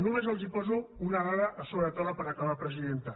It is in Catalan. només els poso una dada a sobre la taula per acabar presidenta